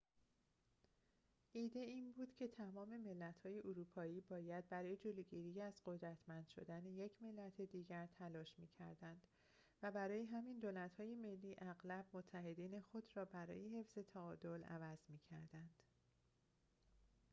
ایده این بود که تمام ملت‌های اروپایی باید برای جلوگیری از قدرتمند شدن یک ملت دیگر تلاش می‌کردند و برای همین دولت‌های ملی اغلب متحدین خود را برای حفظ تعادل عوض می‌کردند